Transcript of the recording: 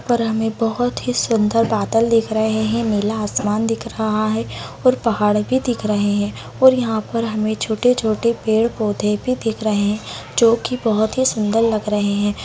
यहाँ पर हमें बहुत ही सुंदर बादल दिख रहें हैं। नीला आसमान दिख रहा है और पहाड़ भी दिख रहें हैं और यहाँ पर हमें छोटे-छोटे पेड़-पौधे भी दिख रहें हैं जो की बहुत ही सुंदर लग रहें हैं।